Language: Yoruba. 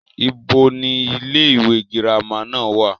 ibo ni ilé ìwé girama náà wà?